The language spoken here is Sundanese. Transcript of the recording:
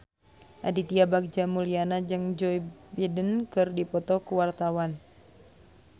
Aditya Bagja Mulyana jeung Joe Biden keur dipoto ku wartawan